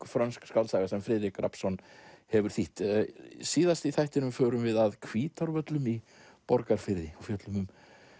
frönsk skáldsaga sem Friðrik Rafnsson hefur þýtt síðast í þættinum förum við að Hvítárvöllum í Borgarfirði fjöllum um